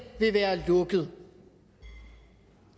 vil være lukket